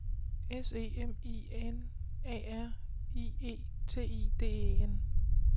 S E M I N A R I E T I D E N